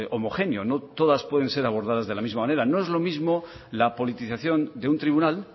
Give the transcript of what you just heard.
homogéneo no todas pueden ser abordadas de la misma manera no es lo mismo la politización de un tribunal